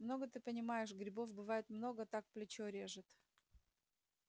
много ты понимаешь грибов бывает много так плечо режет